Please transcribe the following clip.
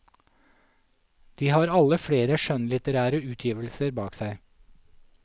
De har alle flere skjønnlitterære utgivelser bak seg.